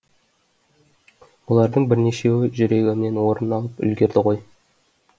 олардың бірнешеуі жүрегімнен орын алып үлгерді ғой